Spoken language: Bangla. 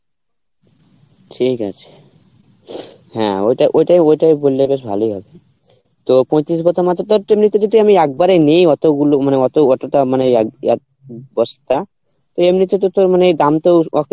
ঠিক আছে হ্যাঁ ওটা ওটা ওটাই বললে বেশ ভালই হবে তো পয়টিরিষ একবারে নি অতগুলো মানে অত অতটা মানে এক এক বস্তা তো এমনিতে তো তোর মানে দাম তো ওকে